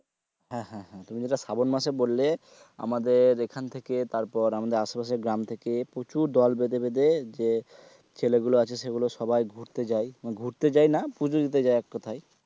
হ্যাঁ হ্যাঁ তুমি যেটা শ্রাবণ মাসে বললে আমাদের এখান থেকে তারপর আশেপাশের গ্রাম থেকে প্রচুর দোল বেঁধে বেঁধে যে ছেলেগুলো আছে সেগুলো সবাই ঘুরতে যায় মানে ঘুরতে চায় না পুজো দিতে যাই এক কথায়,